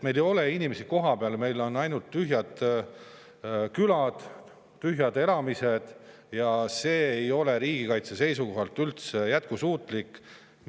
Meil ei ole kohapeal inimesi, meil on ainult tühjad külad, tühjad elamised ja see ei ole riigikaitse seisukohalt üldse jätkusuutlik.